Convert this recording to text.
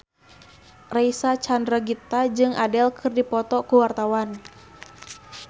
Reysa Chandragitta jeung Adele keur dipoto ku wartawan